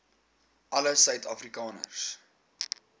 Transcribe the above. alle suid afrikaners